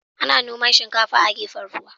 Ana noman shinkafa a gefen ruwa.